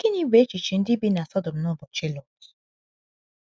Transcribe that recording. Gịnị bụ echiche ndị bi na Sọdọm n’ụbọchị Lọt?